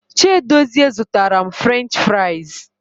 Chiedozie zụtara m French fraịz.